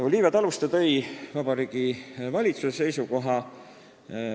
Olivia Taluste tõi välja Vabariigi Valitsuse seisukoha.